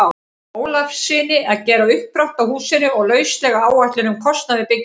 Ólafssyni að gera uppdrátt að húsinu og lauslega áætlun um kostnað við bygginguna.